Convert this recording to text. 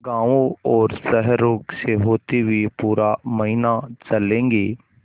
गाँवों और शहरों से होते हुए पूरा महीना चलेंगे